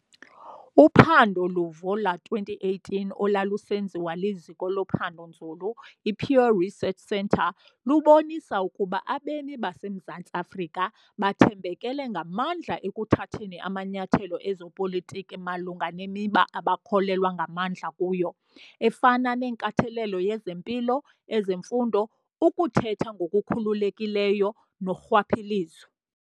Uphando luvo lowama-2018 olwalusenziwa liziko lophando-nzulu i-Pew Research Centre lubonisa ukuba abemi baseMzantsi Afrika bathambekele ngamandla ekuthatheni amanyathelo ezopolitiko malunga nemiba abakholelwa ngamandla kuyo, efana nenkathalelo yezempilo, ezemfundo, ukuthetha ngokukhululekileyo norhwaphilizo.